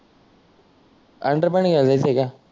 underpant घायायला जायच आहे का